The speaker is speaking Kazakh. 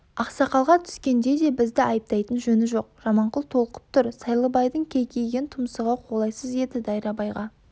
ақсақалға түскенде де бізді айыптайтын жөні жоқ жаманқұл толқып тұр сайлыбайдың кейкиген тұмсығы қолайсыз еді дайрабайға